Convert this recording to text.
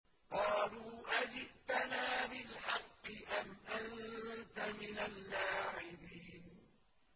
قَالُوا أَجِئْتَنَا بِالْحَقِّ أَمْ أَنتَ مِنَ اللَّاعِبِينَ